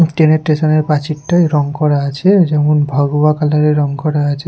Train -এর station -এর প্রাচীরটায় রং করা আছে যেমন ভগবা কালার -এর রং করা আছে।